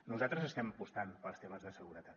nosaltres estem apostant pels temes de seguretat